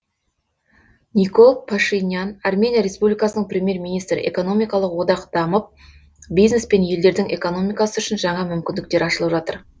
никол пашинян армения республикасының премьер министрі экономикалық одақ дамып бизнес пен елдердің экономикасы үшін жаңа мүмкіндіктер ашылып жатыр